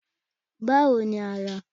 Báwo ni ara?